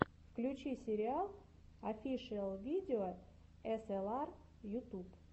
включи сериал офишиал видео эсэлар ютуб